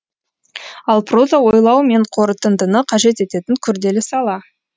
ал проза ойлау мен қорытындыны қажет ететін күрделі сала